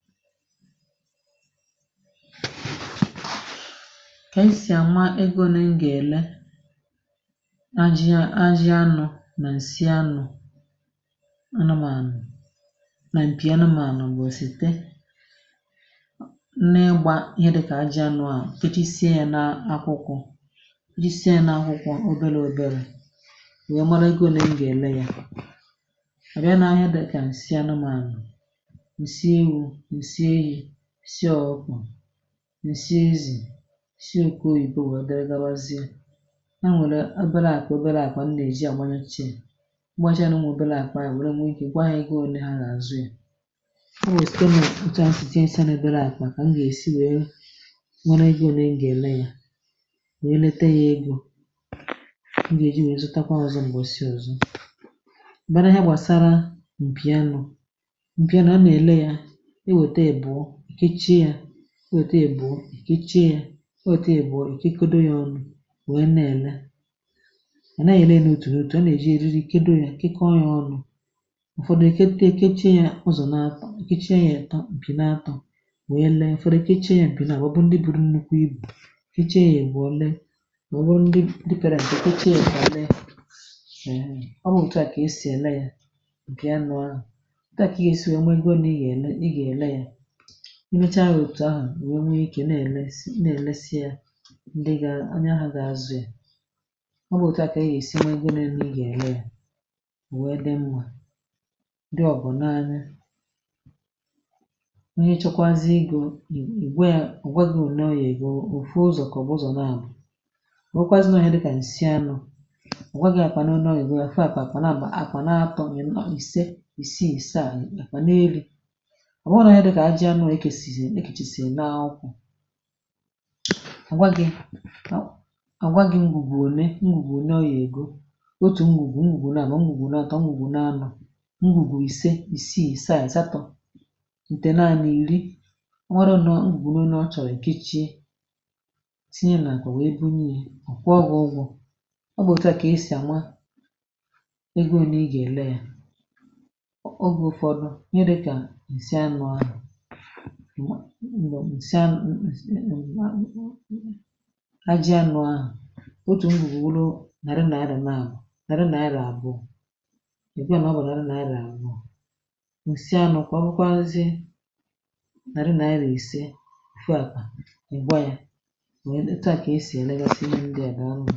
kà ànyị sì àma egò, ee, nè m gà-èlè ajị̇ anụ̇ nà ǹsị anụ̇, anụmànụ̀ nà m̀pì anụmànụ̀, m̀gbè òsìte nne gbà ihe dịkà ajị̇ anụ̇, à nà ijisie yà n’akwụkwọ̇, à nà ijisie yà n’akwụkwọ̇ òbèrè èbèrè, wèe mara egò né m gà-èlè yà, ǹsi eyi̇ si ọkwụkwà, ǹsi ezì, ǹsi oke, oyìpo bụ̀ dirigalazie, ha nwere abịala àkwà, obere àkwà m nà-èji àgbanye chi, è mgbachaa nà ụmụ̀ obere àkwà wee nwee ike, ị ma, gwaa ya ike onye ha gà-àzụ ya, o nwèrè spenụ̀, ịchọ nsìinshi n’ebe àkwà m gà-èsi, wee nwee ike, ọ̀ bụ̀ one m gà-èlè ya, wee lete ya, egò m gà-èji wee zụtakwa ọzọ, m̀gbọ si ọzọ bara ya, gbàsara mpìa nụ̇, mpìa nà a nà-èlè ya, o etu ebu̇, o etu ebu̇, o etu ebu̇, ọ̀ ị̀ kịkodo yà ọnu̇, ònwe nne èle nà à ya, na-èlè n’òtù n’òtù, a nà-èji èzizi ike do yà, kịkọọ yà ọnu̇, ụ̀fọdụ èke ebe ekechi̇ yà ọzọ̀ n’atọ̀, ikechie nà-èto m̀pị n’atọ̀, wèe lee, ụ̀fọdụ ekechie yà m̀pị nà àwọ, bụ ndị bụrụ nnukwu ibu̇, i kịchie yà èbùo lee, màọbụ̀ ndị dịpere m̀kwè, ikechie m̀pị àlịọ, ọ bụ òtù a kà esì èle yà ǹkè a nọ̀ ahụ̀, o kà esì ònwe gọrọ, ǹnị gà-èlè, i mecha wètụ̀ ahụ̀, ì nwẹ̇ onye ike, na ẹmesị, na-ẹ̀mẹsị ya, ndị gà onye ahụ̇ gà-azụ yà, ọ bụ̀ òtù à, kà a gà-èsi nwee gị, n’ẹmẹ, ị gà ẹ̀mẹ à, ò nwe dị mwà, ndị ọ̀ bụ̀ n’anya ihe, chọkwazị igò, ì gwa yà, ọ̀ gwa gị, ò nọọ yà egò, òfù ụzọ̀ kà ọ̀ bụ̀ ụzọ̀ nà àbụ, ò nwèkwazị nọọ yà dị kà ǹsị anọ̇, ọ̀ gwa gị̇ àkwànụ̀, ọ̀ nọọ yà gị̇, àfụ àkwànụ̀, àkwànụ̀ bà, a kwà n’atọ, mị̇rị̇ ìse, ìse, ìse, àkwànụ̀ eri, a nwaghị̇, a nwaghị̇, m̀gbùgbù one, m̀gbùgbù nọ ya, ègo, otù m̀gbùgbù, m̀gbùgbù nọ, mà nà ọ gà, ọ gà, ọ gùnua n’isi à, ọ gà, ọ gà, o nwè ike, à nwà à na-ànọ, gà n’isi à, nọ̀ n’isi à, nọ̀ n’isi à, ǹdanwa ǹsị anụ̇, agị anụ̇ ahụ̀, otù ngùwulu, nàri, nàri, naàri, naàri àbụọ̇, ị̀ bịa n’ọbụ̀ nàri, nàri àbụọ̇, ǹsị anụ̇ kwa bụkwa, ee, nzị, nàri nàri, resė fuòpà, ị̀ gwa ya.